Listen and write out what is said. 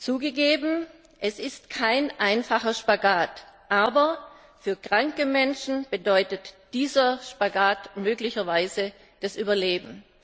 Zugegeben, es ist kein einfacher Spagat, aber für kranke Menschen bedeutet dieser Spagat möglicherweise das Überleben.